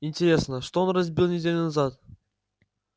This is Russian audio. интересно что он разбил неделю назад